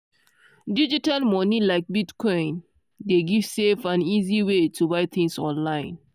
digital money like bitcoin dey give safe and easy way to buy things online.